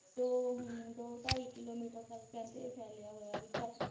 ਦੋ ਹਮ ਦੋ ਢਾਈ ਕਿੱਲੋਮੀਟਰ ਤੱਕ ਕਹਿੰਦੇ ਇਹ ਫੈਲਿਆ ਹੋਇਆ ਵੀ ਤਾਂ